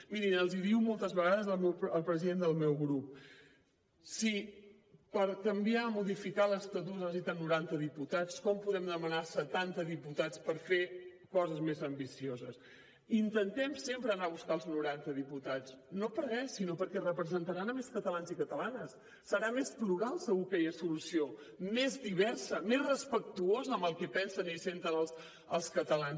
mirin els hi diu moltes vegades el president del meu grup si per canviar modificar l’estatut es necessiten noranta diputats com podem anar a demanar setanta diputats per fer coses més ambicioses intentem sempre anar a buscar els noranta diputats no per res sinó perquè representaran més catalans i catalanes serà més plural segur aquella solució més diversa més respectuosa amb el que pensen i senten els catalans